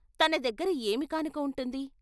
తన దగ్గర ఏమికానుక ఉంటుంది.